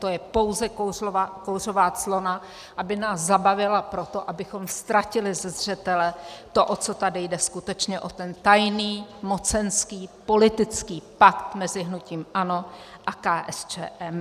To je pouze kouřová clona, aby nás zabavila proto, abychom ztratili ze zřetele to, o co tady jde skutečně, o ten tajný mocenský politický pakt mezi hnutím ANO a KSČM.